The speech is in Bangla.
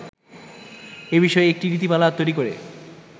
এ বিষয়ে একটি নীতিমালা তৈরি করে